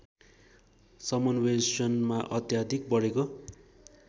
समन्वेषणमा अत्याधिक बढेको